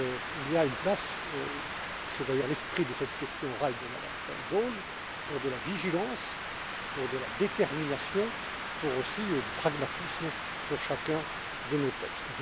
Il y a une place c'est d'ailleurs l'esprit de cette question orale de Mme Sharon Bowles pour de la vigilance, pour de la détermination et pour du pragmatisme sur chacun de nos textes.